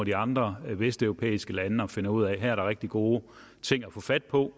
de andre vesteuropæiske lande og finder ud af at der her er rigtig gode ting at få fat på